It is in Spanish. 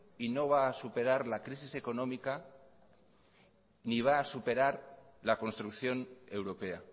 y no va a superar la crisis económica ni va a superar la construcción europea